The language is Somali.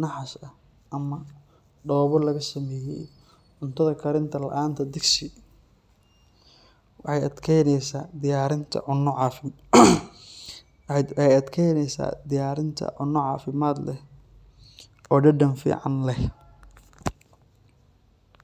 naxaas ah ama dhoobo laga sameeyay. Cuntada karinta la’aanta digsi waxay adkaynaysaa diyaarinta cunno caafimaad leh oo dhadhan fiican leh.